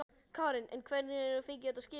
Karen: En hvar fenguð þið þetta skip eiginlega?